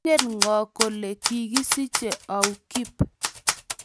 Ingen ngo kole kigisiche au Kip?